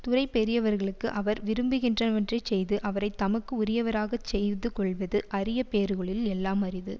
துறை பெரியவர்களுக்கு அவர் விரும்புகின்றவற்றைச் செய்து அவரை தமக்கு உரியவராக செய்து கொள்வது அரிய பேறுகளுள் எல்லாம் அரிது